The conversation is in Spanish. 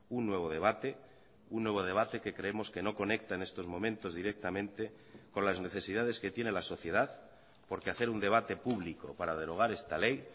un nuevo debate un nuevo debate que creemos que no conecta en estos momentos directamente con las necesidades que tiene la sociedad porque hacer un debate público para derogar esta ley